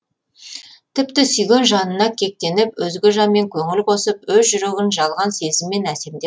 тіпті сүйген жанына кектеніп өзге жанмен көңіл қосып өз жүрегін жалған сезіммен әсемдеп